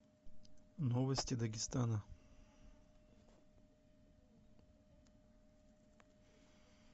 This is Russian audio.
новости дагестана